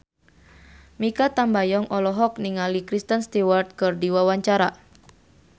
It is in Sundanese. Mikha Tambayong olohok ningali Kristen Stewart keur diwawancara